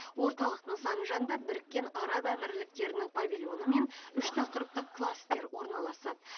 орталық нысаны жанында біріккен араб әмірліктерінің павильоны мен үш тақырыптық кластер орналасады